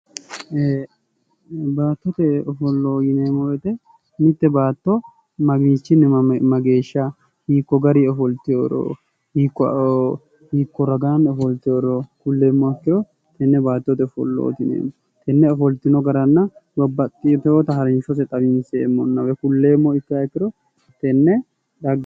Baattote ofollo yineemmo woyite Mitte baatto mamiichinni mageesha hiikko garinni ofolteworo hiikko ragaanni ofolteworo kulleemmoha ikkiro tenne baattote ofollooti yineemmo tenne ofoltino garanna babbaxxitinota harinshose xawinseemmonna woyi kulleemmoha ikkihaikkiro tenne